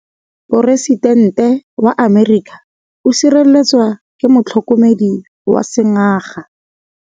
Poresitêntê wa Amerika o sireletswa ke motlhokomedi wa sengaga.